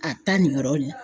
taa nin yɔrɔ in na.